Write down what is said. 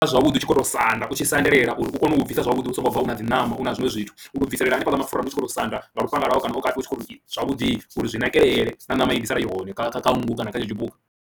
Zwavhuḓi u tshi khou tou sanda u tshi sadelela uri u kone u bvisa zwavhuḓi u songo bva u na dzi ṋama na zwiṅwe zwithu, u bviselela hanefhaḽa mapfhura u tshi khou tou sanda nga lufhanga lwawe kana u kati u tshi khou tou zwavhuḓi uri zwi nakelele na ṋama i ḓi sala i hone kha kha nngu kana kha henetsho tshipuka.